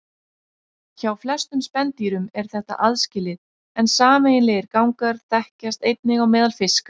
Hjá flestum spendýrum er þetta aðskilið en sameiginlegir gangar þekkjast einnig á meðal fiska.